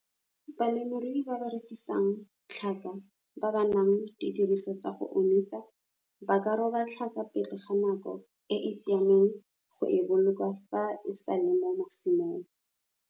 Balemirui ba ba rekisang tlhaka ba ba nang didiriswa tsa go omisa ba ka roba tlhaka pele ga nako e e siameng go e boloka fa e sa le mo masimong.